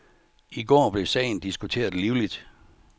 I går blev sagen diskuteret livligt.